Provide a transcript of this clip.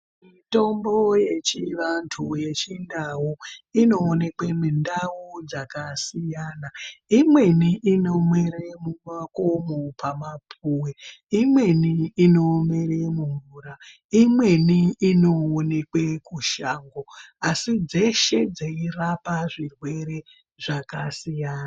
Mitombo yechivantu yechindau inoonekwe mundau dzakasiyana imweni inomere mumakomo pamapuwe imweni inomere mumvura imweni inooneke kushango asi dzeshe dzeirapa zvirwere zvakasiyana.